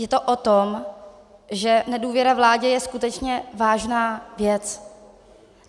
Je to o tom, že nedůvěra vládě je skutečně vážná věc.